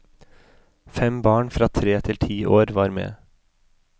Fem barn fra tre til ti år var med.